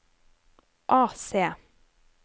AC